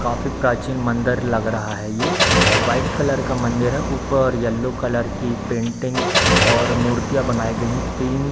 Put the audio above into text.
काफी प्राचीन मंदर लग रहा है ये व्हाइट कलर का मंदिर है ऊपर येलो कलर की पेंटिंग और मूर्तियां बनाई गई है तीन।